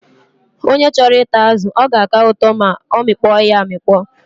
Onye chọrọ ịta azụ, ọ ga-aka ụtọ ma ọ mịkpọ ya amịkpọ.